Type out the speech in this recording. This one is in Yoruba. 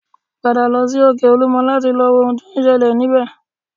Padà lọ sí òkè olúmọ láti lọ wo ohun tí ó ń ṣẹlẹ̀ níbẹ̀